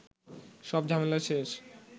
সব ঝামেলা শেষ